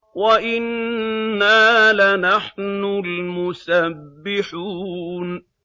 وَإِنَّا لَنَحْنُ الْمُسَبِّحُونَ